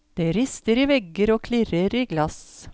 Det rister i vegger og klirrer i glass.